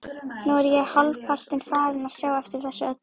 Nú er ég hálfpartinn farinn að sjá eftir þessu öllu.